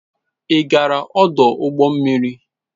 Ị gaara ọdụ ụgbọ mmiri?